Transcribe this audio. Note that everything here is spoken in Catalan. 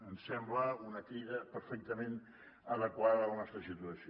em sembla una crida perfectament adequada a la nostra situació